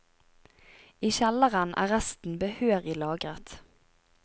I kjelleren er resten behørig lagret.